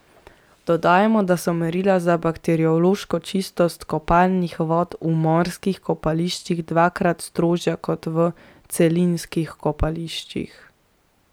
Dodajmo, da so merila za bakteriološko čistost kopalnih vod v morskih kopališčih dvakrat strožja kot v celinskih kopališčih.